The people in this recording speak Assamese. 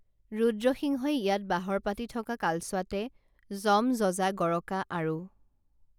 ৰুদ্ৰ সিংহই ইয়াত বাহৰ পাতি থকা কালচোৱাতে যম যজা গৰকা আৰু